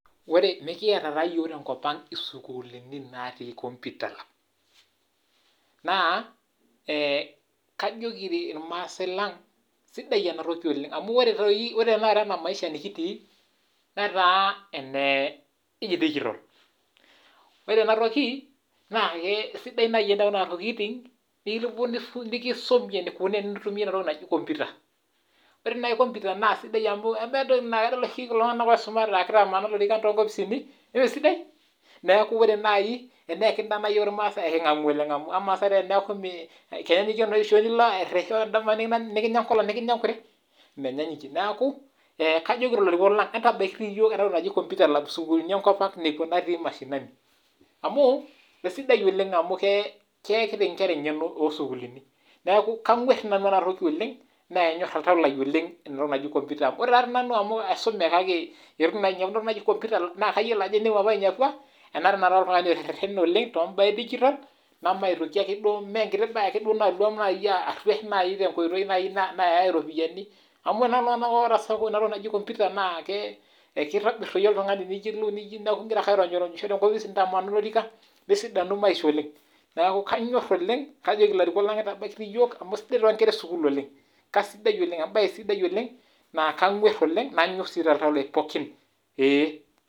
Ore nikiata taa yiok tenkopang isukuulini natii computer naa kajoki irmaasai lang sidai ena toki oleng amu ore tenakata ena maisha nikitii netaa anedijital, naa ore enatoki, esidai naaji entoki nayawuaki nikisumi eneikoni tenintumia ina toki naji computer ore naaji computer naa entoki sidai amaa amu kadol oshi kulo tunganak oisumate aakitamanaa lorikan tonkopisini jemesidai? neeku ore naaji teneyakini yiok irmaasai naa ekingamu oleng amu na saai amu kea nilo shoo nili airitisho nikinya enkolong nikinya enkure? menyaanyukie neeku kajoki ilarikok lang entabaikini yiok ena toki naji computer lab sukulini enkopang nekwa natii mashinaniamu keisidai oleng amu keyakina inkera engeno toosukulini, neeku kagwar dii nanu ena toki oleng naanyor oltau lai entoki naji computer amu ore tadii nanu amu aisume kake eitu ainepu naa kake kayiolo ajo tenemutu apa ainepua enaata tenakata ara oltungani oteretene oleng tombaa edigital, nemaitoki ake duo mee enkiti duo naji ake naaluam arwesh tenkoitoi naaji nayae iropiyiani amu ore naa saai kula tunganak oota computer ekitobir doi oltungani teneeku ingira ake aironyisho tenkopis nintamanaa olorika nesidanu maisha oleng neeku kanyor oleng, kajoki ilarikok lang entabaikiti yiok amu sidai toonkera esukul oleng ,embae sidai oleng naa kagwar oleng nanyor sii toltau lai pookin.